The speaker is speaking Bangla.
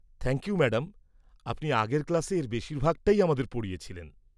থ্যাংক ইউ ম্যাডাম, আপনি আগের ক্লাসে এর বেশিরভাগটাই আমাদের পড়িয়েছিলেন।